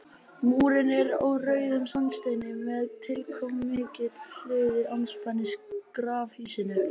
Múrinn er úr rauðum sandsteini með tilkomumiklu hliði andspænis grafhýsinu.